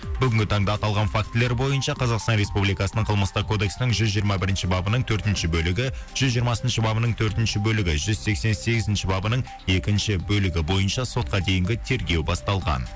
бүгінгі таңда аталған фактілер бойынша қазақстан республикасының қылмыстық кодексінің жүз жиырма бірінші бабының төртінші бөлігі жүз жиырмасыншы бабының төртінші бөлігі жүз сексен сегізінші бабының екінші бөлігі бойынша сотқа дейінгі тергеу басталған